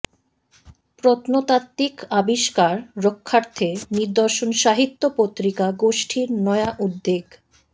প্রত্নতাত্ত্বিক আবিষ্কার রক্ষার্থে নিদর্শন সাহিত্য পত্রিকা গোষ্ঠীর নয়া উদ্যোগ